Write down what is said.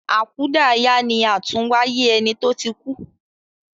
Akudaya ni àtúnwáyé eni to tí kú